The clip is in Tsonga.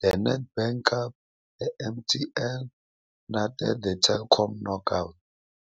The Nedbank Cup, The MTN 8 Cup na The Telkom Knockout.